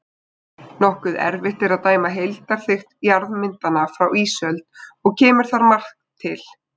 Nokkuð erfitt er að dæma um heildarþykkt jarðmyndana frá ísöld og kemur þar margt til.